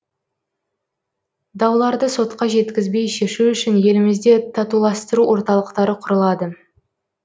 дауларды сотқа жеткізбей шешу үшін елімізде татуластыру орталықтары құрылады